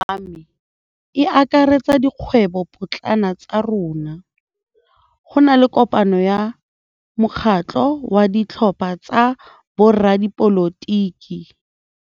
Kgwêbô ya malome wa me e akaretsa dikgwêbôpotlana tsa rona. Go na le kopanô ya mokgatlhô wa ditlhopha tsa boradipolotiki.